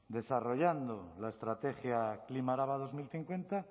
desarrollando la estrategia klima araba dos mil cincuenta